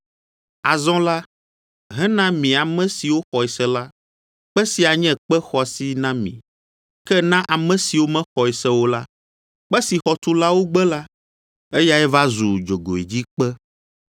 Azɔ la, hena mi ame siwo xɔe se la, kpe sia nye kpe xɔasi na mi. Ke na ame siwo mexɔe se o la, “Kpe si xɔtulawo gbe la, eyae va zu dzogoedzikpe,”